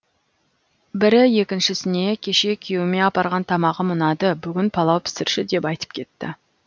бірі екіншісіне кеше күйеуіме апарған тамағым ұнады бүгін палау пісірші деп айтып кетті